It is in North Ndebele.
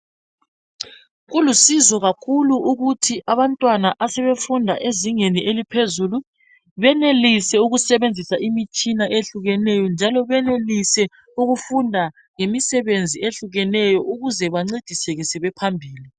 Kulusizo kakhulu ukuthi abantwana asebefunda ezingeni eliphezulu benelise ukusebenzisa imitshina ehlukeneyo njalo benelise ukufunda ngemisebenzi ehlukeneyo ukuze bancediseke sebephambili.